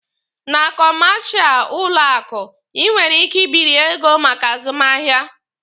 Na kọmashal ụlọ akụ, Ị nwere ike ịbịrị ego maka azụmahịa.